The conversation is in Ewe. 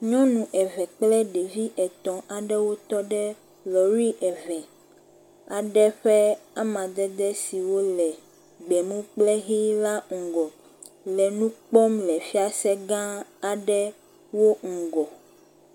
Nyɔnu eve kple ɖevi etɔ̃ aɖewo tɔ ɖe lɔɖi eve aɖe ƒe amadede siwo le gbemu kple ʋi la ŋgɔ le nu kpɔm le fiase gã aɖe wo ŋgɔ.